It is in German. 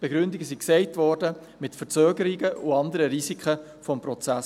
Die Begründungen wurden genannt, mit Verzögerungen und anderen Risiken des Prozesses.